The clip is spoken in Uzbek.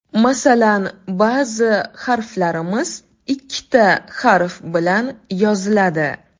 Masalan, ba’zi harflarimiz ikkita harf bilan yoziladi.